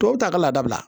Tɔw ta ka laada bila